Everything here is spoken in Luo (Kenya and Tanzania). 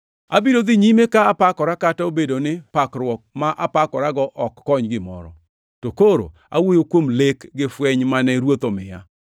Abiro dhi nyime ka apakora kata obedo ni pakruok ma apakorago ok kony gimoro. To koro awuoyo kuom lek gi fweny mane Ruoth omiya.